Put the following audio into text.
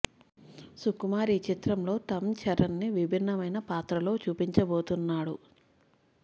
సుకుమార్ ఈ చిత్రంలో తమ్ చరణ్ ని విభిన్నమైన పాత్రలో చూపించబోతున్నాడు